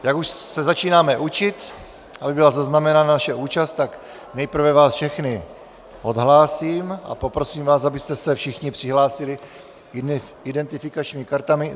Jak už se začínáme učit, aby byla zaznamenána naše účast, tak nejprve vás všechny odhlásím a poprosím vás, abyste se všichni přihlásili identifikačními kartami.